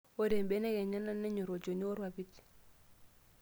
Ore mbenek enyana nenyor olchoni orpapit.